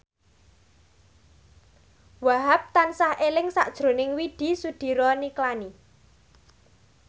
Wahhab tansah eling sakjroning Widy Soediro Nichlany